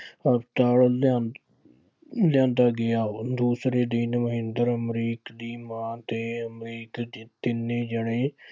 ਹਸਪਤਾਲ ਲਿਆਂ ਲਿਆਂਦਾ ਗਿਆ। ਦੂਸਰੇ ਦਿਨ ਮਹਿੰਦਰ ਅਮਰੀਕ ਦੀ ਮਾਂ ਤੇ ਅਮਰੀਕ ਤਿੰਨੇ ਜਣੇ